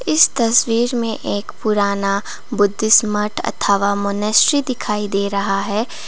इस तस्वीर में एक पुराना बुद्ध स्मार्ट अथावा मॉनेस्ट्री दिखाई दे रहा है।